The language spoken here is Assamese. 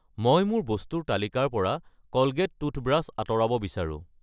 মই মোৰ বস্তুৰ তালিকাৰ পৰা কলগেট টুথব্ৰাছ আঁতৰাব বিচাৰো।